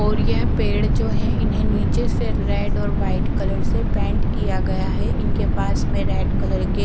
और यह पेड़ जो है इन्हें नीचे से रेड और व्हाइट कलर से पेंट किया गया है इनके पास में रेड कलर के--